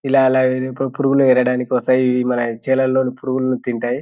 ఇలా అలా అవి పురుగుల్ని ఏరడానికి వస్తాయి.ఇవి మన చేలల్లోని పురుగుల్ని తింటాయి.